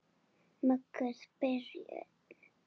Mögnuð byrjun.